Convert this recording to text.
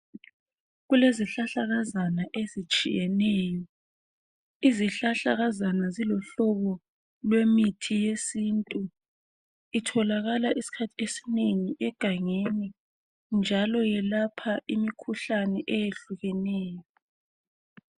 Kulezihlahlakazana ezitshiyeneyo. Izihlahlakazana ziluhlobo lwemithi yesintu. Itholakala isikhathi esinengi egangeni njalo yelapha imikhuhlane eyehlukeneyo.